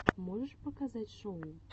можешь показать шоу